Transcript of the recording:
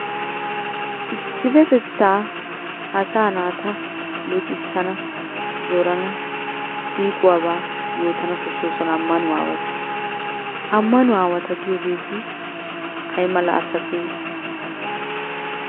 Issippetettaa asaa naata luxissan zorana siiquwabaa yootana koshshoosona ammanuwa aawati. Ammanuwa aawata giyogeeti ayimala asatee?